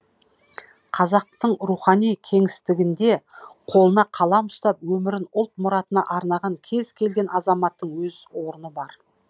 қазақтың рухани кеңістігінде қолына қалам ұстап өмірін ұлт мұратына арнаған кез келген азаматтың өз орны бар